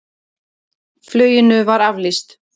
Fluginu var aflýst.